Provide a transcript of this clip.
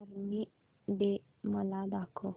army day मला दाखव